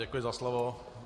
Děkuji za slovo.